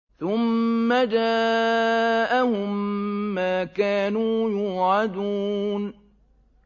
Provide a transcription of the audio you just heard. ثُمَّ جَاءَهُم مَّا كَانُوا يُوعَدُونَ